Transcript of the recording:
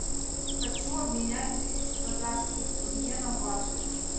хочу обменять тысячу казахских тенге на баты